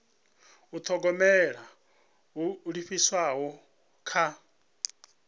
u thogomela ho livhiswaho kha